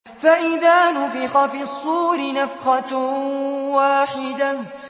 فَإِذَا نُفِخَ فِي الصُّورِ نَفْخَةٌ وَاحِدَةٌ